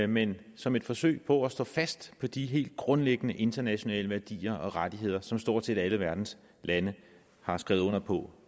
men som et forsøg på at stå fast på de helt grundlæggende internationale værdier og rettigheder som stort set alle verdens lande har skrevet under på